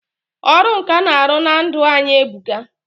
Ọrụ nkà na-arụ na ndụ anyị e buka.